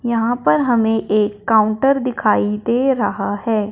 यहां पर हमे एक काउंटर दिखाई दे रहा है।